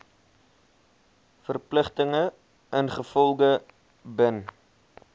verpligtinge ingevolge bin